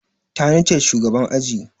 Tani ce shugaban aji.